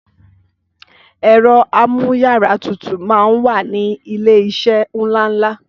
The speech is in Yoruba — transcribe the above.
Ẹ̀ro amú yàrá tutù mà ń wà ni ilé iṣé ńláńlá